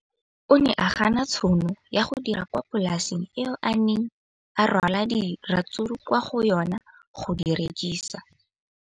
O ne a gana tšhono ya go dira kwa polaseng eo a neng rwala diratsuru kwa go yona go di rekisa.